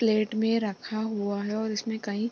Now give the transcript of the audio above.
plate में रखा हुआ है और इसमें कई --